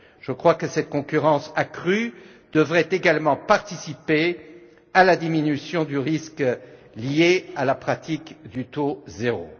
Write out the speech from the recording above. Je crois que cette concurrence accrue devrait également participer à la diminution du risque lié à la pratique du taux zéro.